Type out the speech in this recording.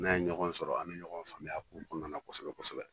N'a ye ɲɔgɔn sɔrɔ a bɛ ɲɔgɔn faamuya a ko kɔnɔnana kosɛbɛ kosɛbɛ.